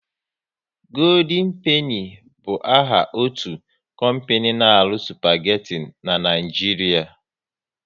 Goodien Peni bụ áhà otu kompani n'aru spageti n'Naijiria